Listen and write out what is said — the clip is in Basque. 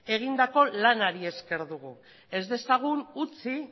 egindako lanari esker dugu ez dezagun utzi